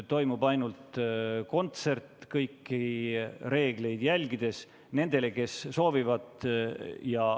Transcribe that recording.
Toimub ainult kontsert kõiki reegleid järgides nendele, kes soovivad.